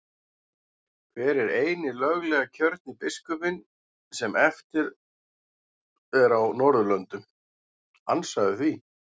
Hver er eini löglega kjörni biskupinn sem eftir er á Norðurlöndum, ansaðu því?